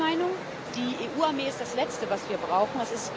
Meine Meinung Die EU Armee ist das Letzte was wir brauchen.